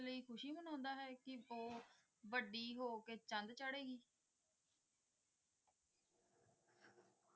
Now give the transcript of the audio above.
ਖੁਸ਼ੀ ਨਹੀਂ ਮਨਾਉਂਦਾ ਵੱਡੀ ਹੋ ਕੇ ਚੰਨ ਚਾੜੇਗੀ